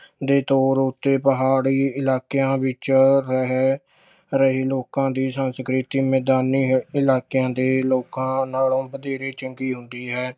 ਦੇ ਤੌਰ ਉੱਤੇ ਪਹਾੜੀ ਇਲਾਕਿਆਂ ਵਿੱਚ ਰਹਿ ਰਹੇ ਲੋਕਾਂ ਦੀ ਸੰਸਕ੍ਰਿਤੀ ਮੈਦਾਨੀ ਹ~ ਇਲਾਕਿਆਂ ਦੇ ਲੋਕਾਂ ਨਾਲੋਂ ਵਧੇਰੇ ਚੰਗੀ ਹੁੰਦੀ ਹੈ।